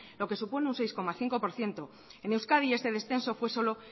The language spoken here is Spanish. lo que supone un seis coma cinco por ciento en euskadi ese descenso fue solo